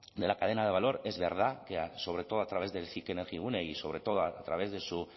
de la cadena de valor es verdad sobre todo a través del cic energigune y sobre todo a través de su